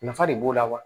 Nafa de b'o la wa